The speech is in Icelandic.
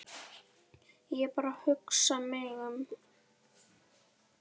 Ég er bara að hugsa mig um.